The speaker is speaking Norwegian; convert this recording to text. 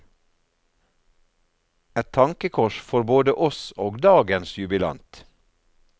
Et tankekors for både oss og dagens jubilant.